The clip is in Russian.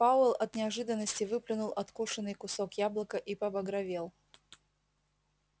пауэлл от неожиданности выплюнул откушенный кусок яблока и побагровел